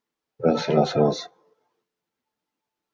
раз раз раз